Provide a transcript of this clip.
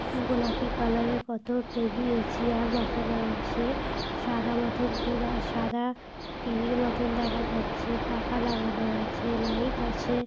গোলাপি কালার এর কত টেবিল চেয়ার বসানো আছে সাদা মতন কি দ্যা সাদা টি.ভি -র মতন দেখা যাচ্ছে পাখা লাগানো আছে লাইট আছে।